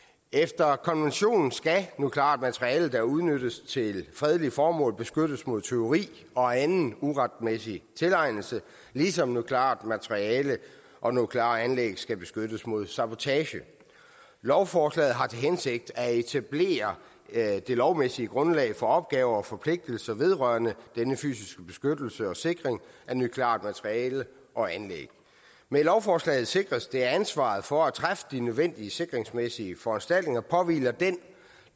efter konventionen skal nukleart materiale der udnyttes til fredelige formål beskyttes mod tyveri og anden uretmæssig tilegnelse ligesom nukleart materiale og nukleare anlæg skal beskyttes mod sabotage lovforslaget har til hensigt at etablere det lovmæssige grundlag for opgaver og forpligtelser vedrørende denne fysiske beskyttelse og sikring af nukleart materiale og anlæg med lovforslaget sikres det at ansvaret for at træffe de nødvendige sikringsmæssige foranstaltninger påhviler den